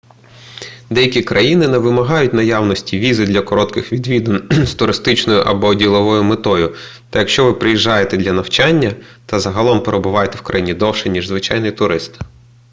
деякі країни не вимагають наявності візи для коротких відвідин з туристичною або діловою метою та якщо ви приїжджаєте для навчання то загалом перебуватимете в країні довше ніж звичайний турист